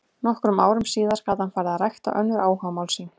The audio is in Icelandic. Nokkrum árum síðar gat hann farið að rækta önnur áhugamál sín.